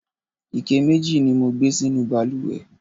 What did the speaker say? ike mẹji ni mo gbé sínú ìbalùwẹ̀